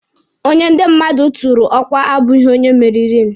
Onye ndi mmadụ tụụrụ ọkwa abụghị onye meririnụ.